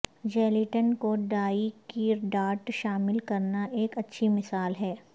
gelatine کو dye کی dot شامل کرنا ایک اچھی مثال ہے